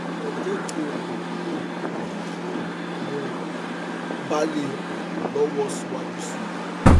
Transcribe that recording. ẹ jẹ kí n mọ um bí um mo bá lè ràn yín lọwọ síwájú sí i